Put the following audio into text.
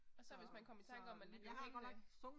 Og så hvis man kom i tanke om man lige blev hængende